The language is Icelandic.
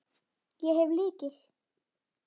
Ég hef lykil.